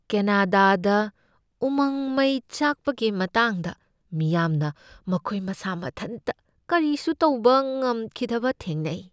ꯀꯦꯅꯗꯥꯗ ꯎꯃꯪ ꯃꯩ ꯆꯥꯛꯄꯒꯤ ꯃꯇꯥꯡꯗ ꯃꯤꯌꯥꯝꯅ ꯃꯈꯣꯏ ꯃꯁꯥꯃꯊꯟꯇ ꯀꯔꯤꯁꯨ ꯇꯧꯕ ꯉꯝꯈꯤꯗꯕ ꯊꯦꯡꯅꯩ꯫